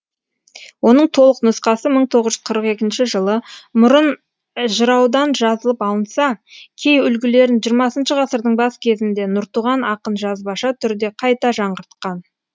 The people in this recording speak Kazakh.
оның толық нұсқасы мың тоғыз жүзз қырық екінші жылы мұрын жыраудан жазылып алынса кей үлгілерін жиырмасыншы ғасырдың бас кезінде нұртуған ақын жазбаша түрде қайта жаңғыртқан